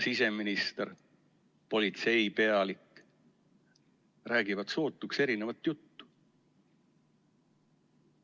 Siseminister ning politseipealik räägivad sootuks erinevat juttu.